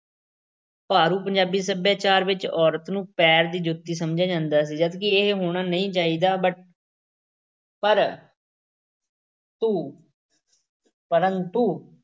ਭਾਰੂ ਪੰਜਾਬੀ ਸੱਭਿਆਚਾਰ ਵਿੱਚ ਔਰਤ ਨੂੰ ਪੈਰ ਦੀ ਜੁੱਤੀ ਹੀ ਸਮਝਿਆ ਜਾਂਦਾ ਸੀ, ਜਦਕਿ ਇਹ ਹੋਣਾ ਨਹੀਂ ਚਾਹੀਦਾ। but ਪਰ ਤੂ ਪਰੰਤੂ